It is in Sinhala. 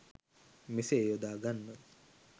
මෙසේ යොදා ගන්න.